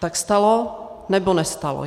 Tak stalo, nebo nestalo?